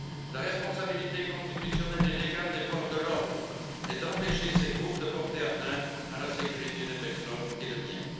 La responsabilité constitutionnelle et légale des forces de l'ordre est d'empêcher ces groupes de porter atteinte à la sécurité des personnes et des biens.